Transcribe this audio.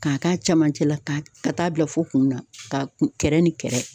K'a k'a camancɛ la ka t ka taa bila fɔ kun na ka t kɛrɛ ni kɛrɛ